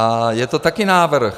A je to také návrh.